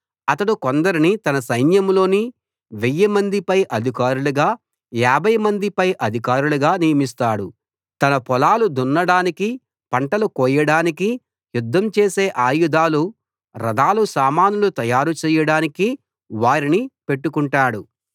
అతడు కొందరిని తన సైన్యంలోని వెయ్యిమంది పై అధికారులుగా యాభైమంది పై అధికారులుగా నియమిస్తాడు తన పొలాలు దున్నడానికి పంటలు కోయడానికి యుద్ధం చేసే ఆయుధాలు రథాల సామానులు తయారుచేయడానికి వారిని పెట్టుకుంటాడు